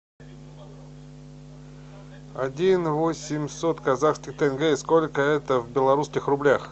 один восемьсот казахских тенге сколько это в белорусских рублях